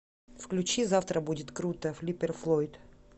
включи завтра будет круто флиппер флойд